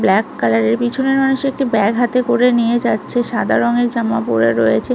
Black কালারের পিছনের মানুষ একটি ব্যাগ হাতে করে নিয়ে যাচ্ছে সাদা রংয়ের জামা পরে রয়েছে।